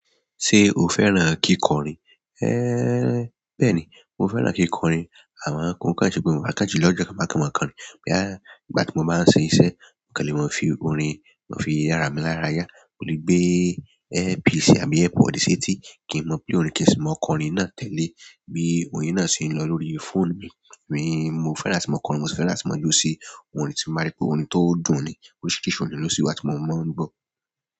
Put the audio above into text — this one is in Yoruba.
Ṣé o fẹ́ràn kíkọrin? Bẹ́ẹ̀ni, mo fẹ́ràn kíkọrin. A máa ń kọ orin ṣe pẹ̀lú fakajulo, ọjọ́ kan máa kọ orin kan ní. Bóyá, nígbà tí mo bá ń ṣe iṣẹ́, mo kàn le mo fi orin, mo fi yára mi lára yá. Mo lè gbé LP sì àbí air pod sétí kí n mọ play orin kì í sì mọ kọ orin náà tẹ́le e bí i orin náà ṣe ń lọ lórí fóònù mi. Mo fẹ́ràn àti mọ́ kọ orin, mo sì fẹ́ràn àti mọ jó sí orin tí mo bá rí pé orin tó dùn ni. Oríṣiríṣi orin ló sí wá tí mo máa ń gbọ́.